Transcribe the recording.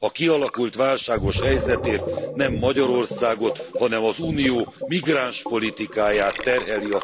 A kialakult válságos helyzetért nem Magyarországot, hanem az Unió migránspolitikáját terheli a felelősség.